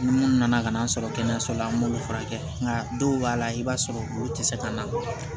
Ni mun nana ka na sɔrɔ kɛnɛyaso la an b'olu furakɛ nka dɔw b'a la i b'a sɔrɔ olu tɛ se ka na